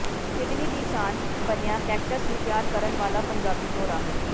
Sydney ਦੀ ਸ਼ਾਨ ਬਣਿਆ ਕੈਕਟਸ ਨੂੰ ਪਿਆਰ ਕਰਨ ਵਾਲਾ ਪੰਜਾਬੀ ਜੋੜਾ